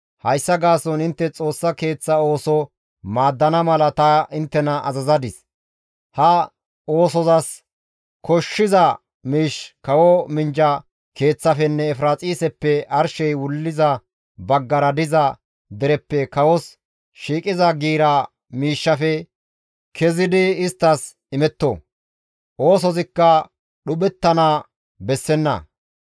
Hayssa gaason intte Xoossa Keeththa ooso maaddana mala ta inttena azazadis; ha oosozas koshshiza miish kawo minjja keeththafenne Efiraaxiseppe arshey wuliza baggara diza dereppe kawos shiiqiza giira miishshafe kezidi isttas imetto; oosozikka dhuphettana bessenna.